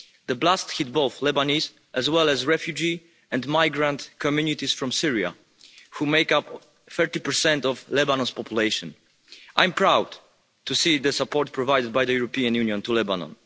The blast hit both Lebanese as well as refugee and migrant communities from Syria who make up 30 of Lebanon's population. I'm proud to see the support provided by the European Union to Lebanon.